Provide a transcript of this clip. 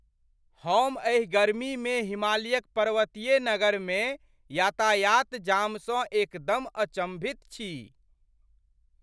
हम एहि गर्मीमे हिमालयक पर्वतीय नगरमे यातायात जामसँ एकदम अचम्भित छी!